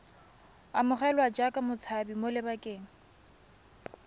amogelwa jaaka motshabi mo lebakeng